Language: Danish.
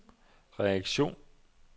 reaktion